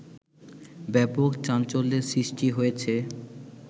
ব্যাপক চাঞ্চল্যের সৃষ্টি হয়েছে